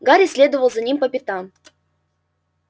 гарри следовал за ним по пятам